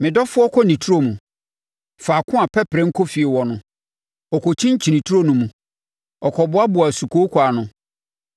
Me dɔfoɔ kɔ ne turo mu, faako a pɛperɛ nkofie wɔ hɔ, ɔkɔkyinkyini turo no mu akɔboaboa sukooko ano.